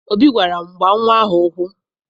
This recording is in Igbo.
Obi gwara m, gbaa nnwa ahụ ụkwụ!